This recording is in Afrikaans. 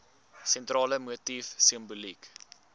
sentrale motief simboliek